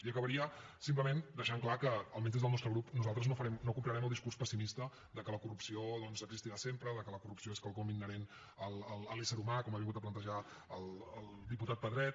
i acabaria simplement deixant clar que almenys des del nostre grup nosaltres no comprarem el discurs pessimista que la corrupció doncs existirà sempre que la corrupció és quelcom inherent a l’ésser humà com ha vingut a plantejar el diputat pedret